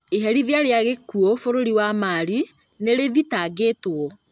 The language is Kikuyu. Iherithia rĩa gĩkuo bũrũri wa Mali, nĩrĩthitangĩtwo